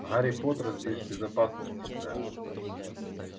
гарри поттер здесь в безопасности сэр